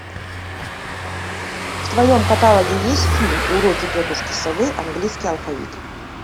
в твоем каталоге есть фильм уроки тетушки совы английский алфавит